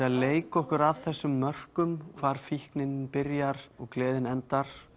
að leika okkur að þessum mörkum hvar fíknin byrjar og gleðin endar